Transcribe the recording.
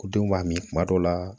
Ko denw b'a min kuma dɔw la